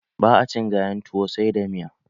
Ba a cin gayan tuwo sai da miya.